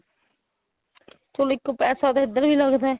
ਚਲੋ ਇੱਕ ਪੈਸਾ ਤਾਂ ਇੱਧਰ ਵੀ ਲੱਗਦਾ